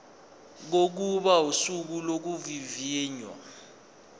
kokuba usuku lokuvivinywa